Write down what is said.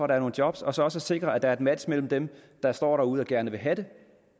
der er nogle job og så også sikre at der er et match mellem dem der står derude og gerne vil have dem